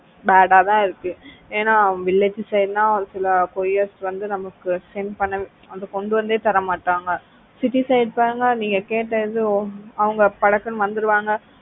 bad ஆ தான் இருக்கு ஏன்னா village side ன்னா ஒரு சில couriers வந்து நமக்கு send பண்னா கொண்டு வந்தே தர மாட்டாங்க city side பாருங்க நீங்க கேட்ட இடம் படக்குன்னு வந்துடுவாங்க